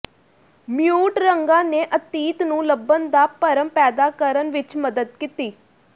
mute ਰੰਗਾਂ ਨੇ ਅਤੀਤ ਨੂੰ ਲੱਭਣ ਦਾ ਭਰਮ ਪੈਦਾ ਕਰਨ ਵਿੱਚ ਮਦਦ ਕੀਤੀ